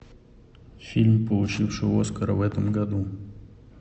фильм получивший оскара в этом году